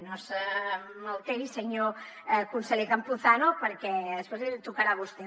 no se m’alteri senyor conseller campuzano perquè després li tocarà a vostè